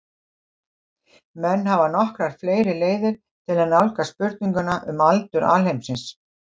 menn hafa nokkrar fleiri leiðir til að nálgast spurninguna um aldur alheimsins